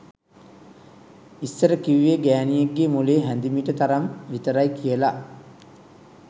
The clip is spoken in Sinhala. ඉස්සර කිව්වේ ගෑනියෙක්ගෙ මොලේ හැදිමිට තරම් විතරයි කියලා